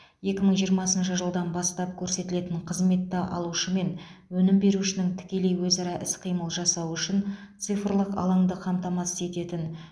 екі мың жиырмасыншы жылдан бастап көрсетілетін қызметті алушы мен өнім берушінің тікелей өзара іс қимыл жасауы үшін цифрлық алаңды қамтатасыз ететін